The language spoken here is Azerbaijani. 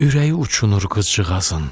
Ürəyi uçunur qızcığazın.